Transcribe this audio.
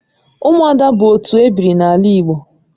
Ụmụada bụ otu ebiri n'ala Igbo